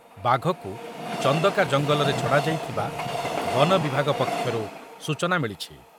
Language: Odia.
ବାଘକୁ ଚନ୍ଦକା ଜଙ୍ଗଲରେ ଛଡ଼ାଯାଇଥିବା ବନ ବିଭାଗ ପକ୍ଷରୁ ସୂଚନା ମିଳିଛି ।